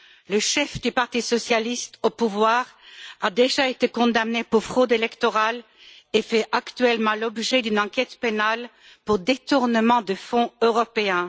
Le chef du parti socialiste au pouvoir a déjà été condamné pour fraude électorale et fait actuellement l'objet d'une enquête pénale pour détournement de fonds européens.